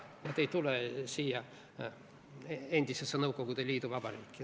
Nad ei tule siia kui endisesse Nõukogude Liidu vabariiki.